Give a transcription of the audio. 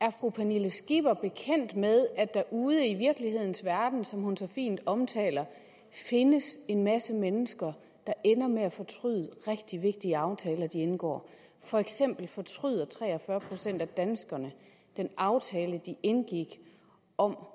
er fru pernille skipper bekendt med at der ude i virkelighedens verden som hun så fint omtaler findes en masse mennesker der ender med at fortryde rigtig vigtige aftaler de indgår for eksempel fortryder tre og fyrre procent af danskerne den aftale de indgik om